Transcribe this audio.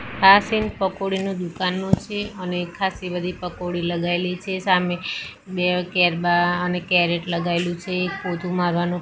આ સીન પકોડીનુ દુકાનનું છે અને ખાસી બધી પકોડી લગઇલી છે સામે બે કેરબા અને કેરેટ લગાઇલુ છે એક પોતુ મારવાનું--